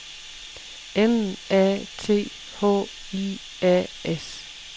M A T H I A S